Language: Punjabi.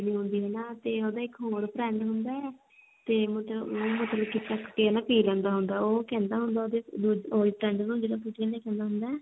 ਨੀ ਹੁੰਦੀ ਤੇ ਨਾ ਤੇ ਉਹਦਾ ਇੱਕ ਹੋਰ friend ਹੁੰਦਾ ਤੇ ਉਹ ਮਤਲਬ ਕੀ ਚੱਕ ਕੇ ਨਾ ਪੀ ਲੈਂਦਾ ਹੁੰਦਾ ਉਹ ਕਹਿੰਦਾ ਹੁੰਦਾ ਉਹਦੇ ਦੂਜੇ ਨੂੰ ਕਹਿੰਦਾ ਜਿਹੜਾ ਫਰੂਟੀਆਂ ਟੰਗ ਦਾ ਹੁੰਦਾ